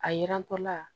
A yirantɔ la